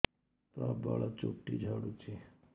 ପ୍ରବଳ ଚୁଟି ଝଡୁଛି